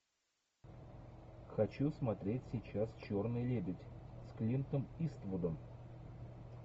хочу смотреть сейчас черный лебедь с клинтом иствудом